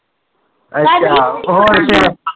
ਅੱਛਾ